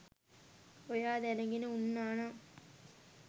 ඔයා දැනගෙන උන්නානම්